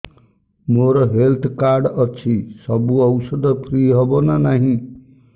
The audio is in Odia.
ମୋର ହେଲ୍ଥ କାର୍ଡ ଅଛି ସବୁ ଔଷଧ ଫ୍ରି ହବ ନା ନାହିଁ